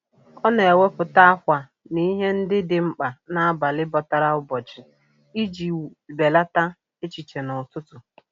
Ọ na-ewepụta ákwà na ihe ndị dị mkpa n'abalị bọtara ụbọchị iji belata echiche n'ụtụtụ.